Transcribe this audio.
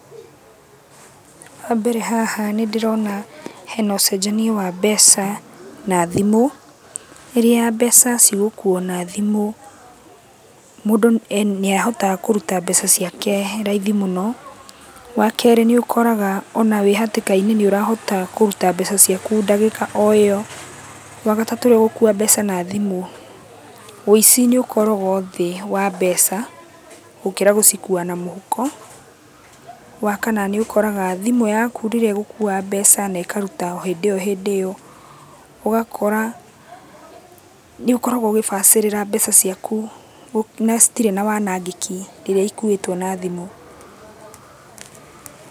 Wambere haha nĩndĩrona hena ũcenjania wa mbeca na thimũ. Rĩrĩa mbeca cigũkuo na thimũ, mũndũ nĩahotaga kũruta mbeca ciake raithi mũno. Wakerĩ nĩũkoraga ona wĩ hatĩka-inĩ nĩũrahota kũruta mbeca ciaku ndagĩka o ĩyo. Wagatatũ rĩrĩa ũgũkua mbeca na thimũ, wĩici nĩũkoragwo thĩ wa mbeca, gũkĩra gũcikua na mũhuko. Wakana nĩũkoraga, thimũ yaku rĩrĩa ĩgũkua mbeca na ĩkaruta o hĩndĩ-ĩyo hĩndĩ-ĩyo, ũgakora nĩũkoragũo ũgĩbacĩrĩra mbeca ciaku, na citirĩ na wanangĩki rĩrĩa ikuwĩtũo na thimũ.